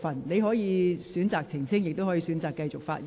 你可以選擇澄清，亦可以選擇繼續發言。